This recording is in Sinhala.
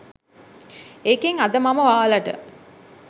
ඒකෙන් අද මම ඔයාලට